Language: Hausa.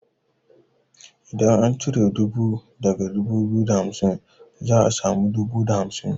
Idan an cire dubu daga dubu biyu da hamsin za a samu dubu da hamsin.